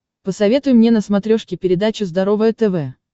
посоветуй мне на смотрешке передачу здоровое тв